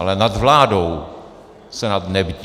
Ale nad vládou Senát nebdí.